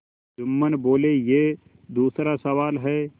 जुम्मन बोलेयह दूसरा सवाल है